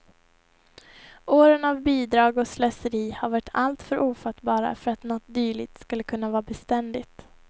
Åren av bidrag och slöseri har varit alltför ofattbara för att något dylikt skulle kunna vara beständigt.